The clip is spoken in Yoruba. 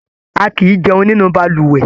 A kìí jẹun nínú balùwẹ̀.